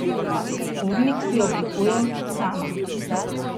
Urnik si oblikujem sama.